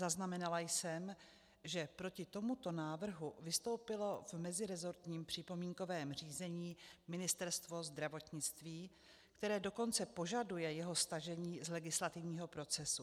Zaznamenala jsem, že proti tomuto návrhu vystoupilo v meziresortním připomínkovém řízení Ministerstvo zdravotnictví, které dokonce požaduje jeho stažení z legislativního procesu.